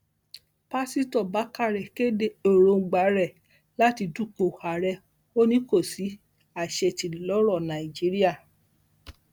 pásítọ bákàrẹ kéde èròǹgbà rẹ láti dúpọ àárẹ ó ní kó sí àṣetì lọrọ nàìjíríà